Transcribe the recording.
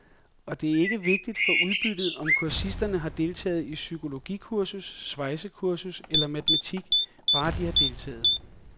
Og det er ikke vigtigt for udbyttet, om kursisterne har deltaget i psykologikursus, svejsekursus eller matematik, bare de har deltaget.